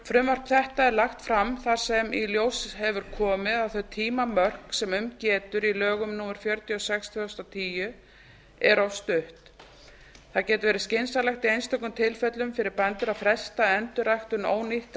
frumvarp þetta er lagt fram þar sem í ljós hefur komið að þau tímamörk sem um getur í lögum númer fjörutíu og sex tvö þúsund og tíu eru of stutt það getur verið skynsamlegt í einstökum tilfellum fyrir bændur að fresta endurræktun